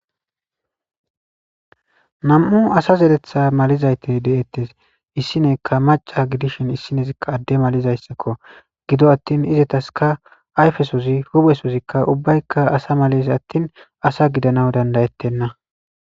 Namu'u asa zeretha malizayte deettes issineekka maca gidishin issinesia adde malizayssakko gido attin izetaska ayfesozi huphesozikka ubbaykka asa males attin asa gidana dandayettenna.